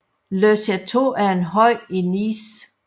Le Château er en høj i Nice